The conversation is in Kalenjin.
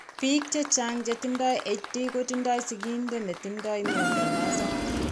Biik chechang' che tindo HD kotindo sigindeet ne tindo mnyando noton.